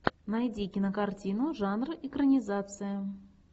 найди кинокартину жанр экранизация